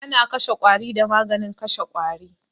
Ana kashe ƙwari da maganin kashe ƙwari